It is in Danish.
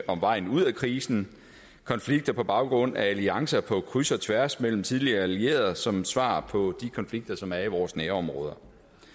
om vejen ud af krisen konflikter på baggrund af alliancer på kryds og tværs mellem tidligere allierede som svar på de konflikter som er i vores nærområder